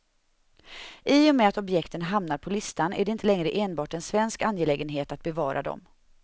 I och med att objekten hamnar på listan är det inte längre enbart en svensk angelägenhet att bevara dem.